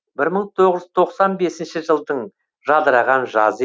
бір мың тоғыз жүз тоқсан бесінші жылдың жадыраған жазы